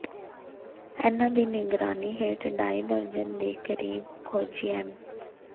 ਇਨ੍ਹਾਂ ਦੀ ਨਿਗਰਾਨੀ ਹੇਠ ਢਾਈ ਦਰਜਨ ਦੇ ਕਰੀਬ ਖੋਜੀ ਐਮ